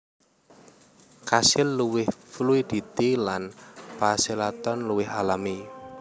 Kasil luwih fluiditi lan pachalaton luwih alami